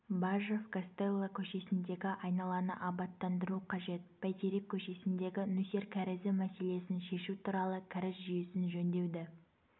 бажов гастелло көшесіндегі айналаны абаттандыру қажет бәйтерек көшесіндегі нөсер кәрізі мәселесін шешу туралы кәріз жүйесін жөндеуді